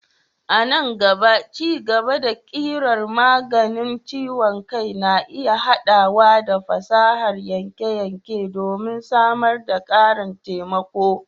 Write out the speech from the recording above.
A nan gaba, ci-gaba na ƙirar maganin ciwon kai na iya haɗawa da fasahar yanke-yanke don samar da ƙarin taimako.